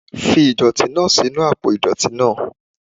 Fi idọti naa sinu apo idọti naa